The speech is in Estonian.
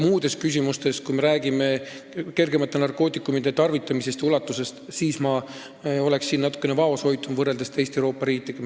Muudes küsimustes, kui me räägime kergemate narkootikumide tarvitamise ulatusest, oleksin ma natukene vaoshoitum, kui me võrdleme ennast teiste Euroopa riikidega.